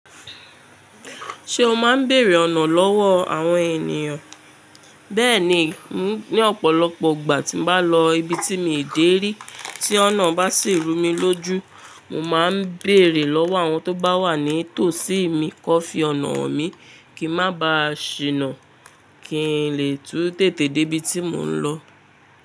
Ṣé o máa ń bèrè ọ̀nà lọ́wọ́ àwọn ènìyàn? Bẹ́ẹ̀ni, ní ọ̀pọ̀lọpọ̀ ìgbà tí mo bá lọ ibi tí mi ò dé rí, tí ọ̀nà bá sì rú mi lójú, mo máa ń bèrè lọ́wọ́ àwọn tó bá wà ní tòsí mi kó fi ọ̀nà han mi, kí n má ba ṣìnà, kí n lè tú tèté dé ibi tí mò ń lọ.